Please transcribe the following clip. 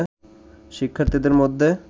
শিক্ষার্থীদের মধ্যে